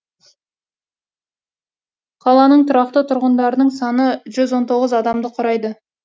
қаланың тұрақты тұрғындарының саны жүз он тоғыз адамды құрайды